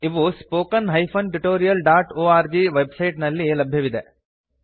ಇವು spoken tutorialಒರ್ಗ್ website ನಲ್ಲಿ ಲಭ್ಯವಿದೆ